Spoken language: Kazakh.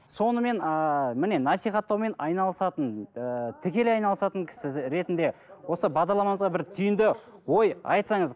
сонымен ыыы міне насихаттаумен айналысатын ыыы тікелей айналысатын кісі ретінде осы бағдарламамызға бір түйінді ой айтсаңыз